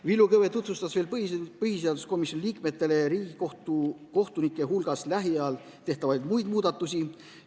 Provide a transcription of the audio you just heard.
Villu Kõve tutvustas veel põhiseaduskomisjoni liikmetele Riigikohtu kohtunike hulgas lähiajal tehtavaid muid muudatusi.